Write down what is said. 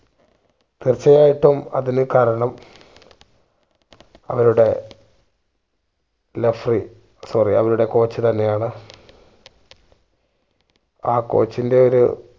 തീർച്ചയായിട്ടും അതിനു കാരണം അവരുടെ referee sorry അവരുടെ coach തന്നെ ആണ് ആ coach ന്റെ ഒരു